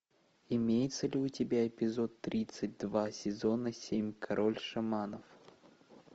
имеется ли у тебя эпизод тридцать два сезона семь король шаманов